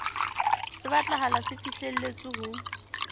se batlahala se fihlelletswe ho